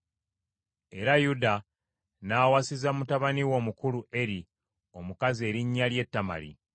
Era Yuda n’awasiza mutabani we omukulu, Eri, omukazi erinnya lye Tamali.